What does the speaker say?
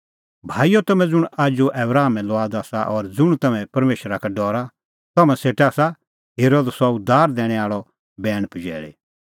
भाईओ तम्हैं ज़ुंण आजू आबरामे लुआद आसा और ज़ुंण तम्हैं परमेशरा का डरा तम्हां सेटा आसा हेरअ द सह उद्धार दैणैं आल़अ बैण पजैल़ी